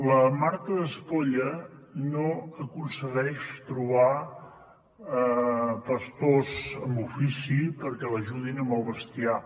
la marta d’espolla no aconsegueix trobar pastors amb ofici perquè l’ajudin amb el bestiar